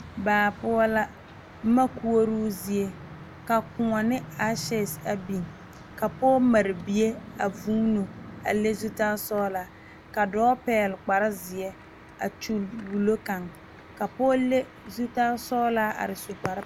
Daa puo la boma koɔroo zie ka koɔ ne asekyɛse a biŋ ka pɔge mare bie a vuuno a le zutalsɔglaa ka dɔɔ pɛgle kparezeɛ a kyulli wulo kaŋ ka pɔge le zutalsɔglaa are a su kpare.